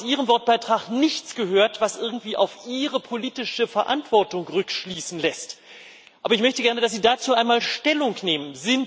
Juncker, ich habe aus Ihrem Wortbeitrag nichts gehört, was irgendwie auf Ihre politische Verantwortung rückschließen lässt, aber ich möchte gerne, dass Sie dazu einmal Stellung nehmen.